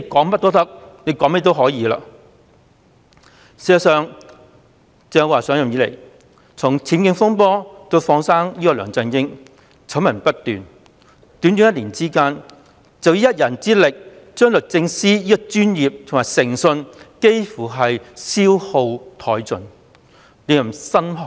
事實上，鄭若驊自上任以來醜聞不斷，包括她自己的僭建風波以至放生梁振英，在短短一年間，她以一人之力便幾乎將律政司的專業及誠信消耗殆盡，令人心寒。